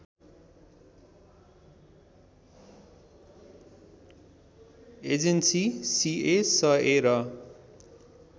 agency CSA र